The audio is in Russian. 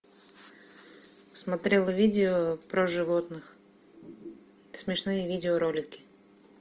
смотрела видео про животных смешные видеоролики